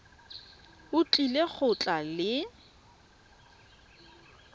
o tlile go tla le